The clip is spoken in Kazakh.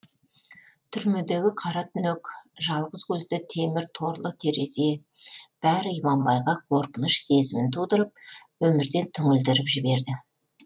түрмедегі қара түнек жалғыз көзді темір торлы терезе бәрі иманбайға қорқыныш сезімін тудырып өмірден түңілдіріп жіберді